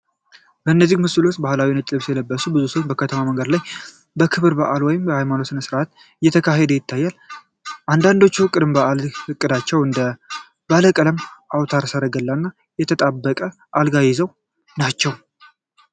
በዚህ ምስል ውስጥ በባህላዊ ነጭ ልብስ የተለበሱ ሰዎች በከተማ መንገድ ላይ በክብረ በዓል ወይም በሃይማኖታዊ ስነ-ሥርዓት እየተካተቱ ታይተዋል። አንዳንዶቹ ቅድመ በዓል እቃዎችን እንደ ባለቀለም አውታረ ሰረገላ እና የተጣበቀ አልጋ ይዘው ናቸው፡፡